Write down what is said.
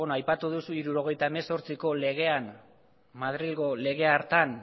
aipatu duzu hirurogeita hemezortziko legean madrilgo lege hartan